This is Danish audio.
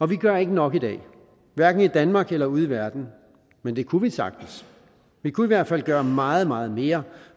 vi gør ikke nok i dag hverken i danmark eller ude i verden men det kunne vi sagtens vi kunne i hvert fald gøre meget meget mere